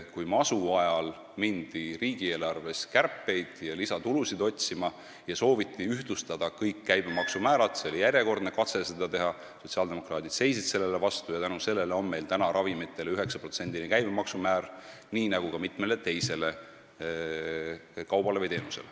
Kui masu ajal mindi tegema riigieelarve kärpeid ja otsima lisatulusid ning sooviti ühtlustada kõik käibemaksu määrad, siis seisid sotsiaaldemokraadid sellele vastu ja tänu sellele on meil praegu ravimite 9%-line käibemaksu määr nii nagu ka mitme teise kauba või teenuse puhul.